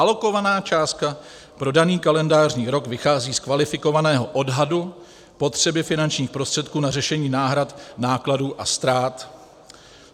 Alokovaná částka pro daný kalendářní rok vychází z kvalifikovaného odhadu potřeby finančních prostředků na řešení náhrad nákladů a ztrát.